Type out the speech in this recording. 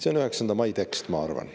See on 9. mai tekst, ma arvan.